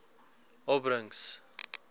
opbrengs